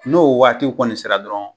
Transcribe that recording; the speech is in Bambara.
N'o waatiw kɔni sera dɔrɔn